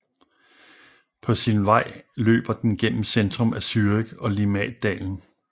På sin vej løber den gennem centrum af Zürich og Limmatdalen